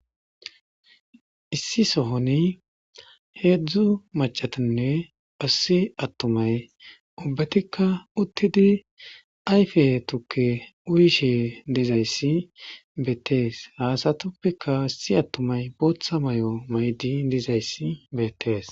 Issi sohoni heedzdzu macatinne asosi attumay ubbatikka uttidi ayfe tukke uyishe dizayssi beettees haasatuppeka assi attumay booththa may'o maydi dizayssi beettees